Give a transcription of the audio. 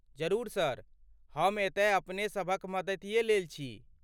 जरुर सर, हम एतय अपने सभक मदतिये लेल छी।